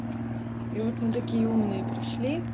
и вот мы такие умные пришли